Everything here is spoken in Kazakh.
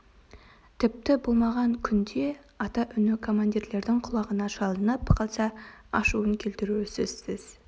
тіпті болмаған күнде ата үні командирлердің құлағына шалынып қалса ашуын келтіруі сөзсіз